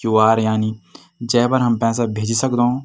Q. R. यानी जेपर हम पैसा भेजी सकदों।